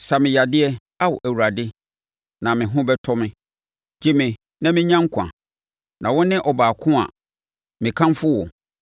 Sa me yadeɛ Ao, Awurade, na me ho bɛtɔ me; gye me na mɛnya nkwa, na wo ne ɔbaako a mekamfo wo.